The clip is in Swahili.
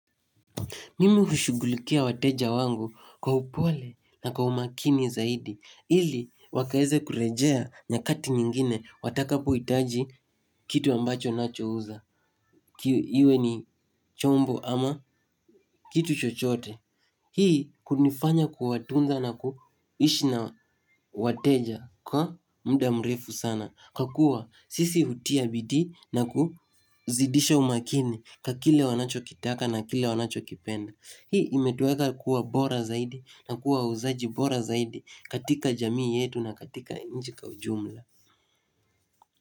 Mimi hushugulikia wateja wangu kwa upole na kwa umakini zaidi. Ili wakaweze kurejea nyakati nyingine watakapohitaji kitu ambacho ninachouza. Iwe ni chombo ama kitu chochote. Hii kunifanya kuwatunza na kuishi na wateja kwa muda mrefu sana. Kwa kuwa sisi hutia bidii na kuzidisha umakini kwa kile wanachokitaka na kile wanacho kipenda. Hii imetuweka kuwa bora zaidi na kuwa wauzaji bora zaidi katika jamii yetu na katika nchi kwa ujumla.